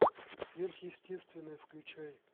сверхъестественное включай